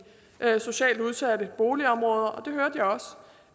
socialt udsatte boligområder